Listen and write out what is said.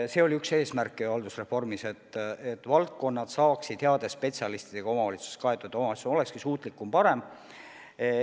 See oli üks haldusreformi eesmärke, et valdkonnad saaksid kaetud heade spetsialistidega, et omavalitsused oleksid suutlikumad, paremad.